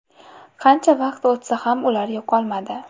Qancha vaqt o‘tsa ham ular yo‘qolmadi.